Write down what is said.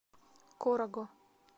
корого